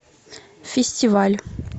фестиваль